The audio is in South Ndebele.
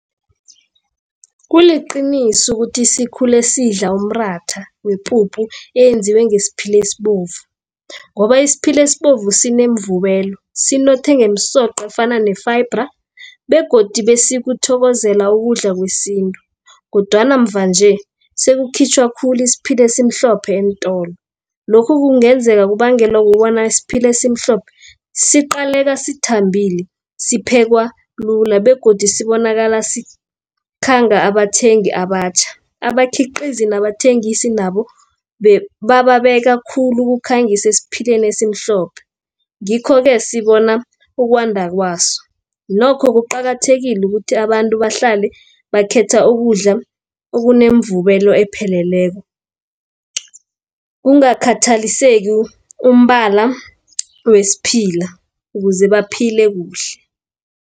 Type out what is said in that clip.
Kuliqiniso ukuthi sikhule sidla umratha wepuphu eyenziwe ngesiphile esibovu, ngoba isiphile esibovu sinemvubelo sinoma nenge umsoqo efana ne-fibre begodu besikuthokozela ukudla kwesintu, kodwana mvanje sekukhitjhwa khulu isiphile esimhlophe eentolo. Lokhu kungenzeka kubangelwa ukubona isiphila esimhlophe siqaleka sithambile, siphekwa lula begodu sibonakala sikhanga abathengi abatjha. Abakhiqizi nabathengisi nabo, bababeka khulu ukhangise esiphileni esimhlophe, ngikho-ke sibona ukwanda kwaso. Nokho kuqakathekile ukuthi abantu bahlale bakhetha ukudla okunemvubelo epheleleko, kungakhathaliseki umbala wesiphila, ukuze baphile kuhle.